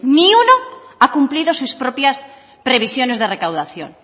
ni uno ha cumplido sus propias precisiones de recaudación